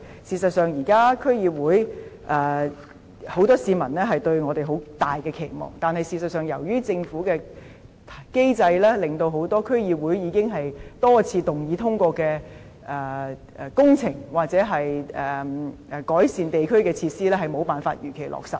事實上，現時很多市民對我們區議會抱有很大期望，但由於政府的機制，令很多區議會已經多次通過進行工程或改善地區設施的動議無法如期落實。